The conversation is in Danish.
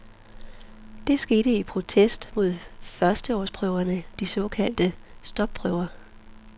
Det skete i protest mod førsteårsprøverne, de såkaldte stopprøver.